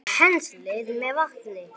Penslið með vatni.